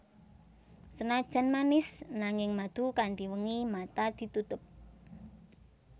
Senajan manis nanging madu Kanthi wengi mata ditutup